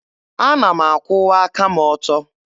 Ana m akwụwa aka m ọtọ.